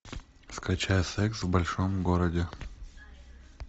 скачай секс в большом городе